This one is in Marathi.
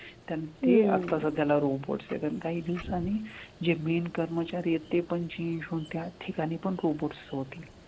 त्यानं ते आता सध्याला robots आहेत आणि काही दिवसांनी जे बिन कर्मचारी आहेत ते पण change होऊन त्या ठिकाणी पण robots होतील.